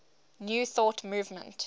new thought movement